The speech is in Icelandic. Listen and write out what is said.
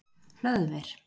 Hlöðver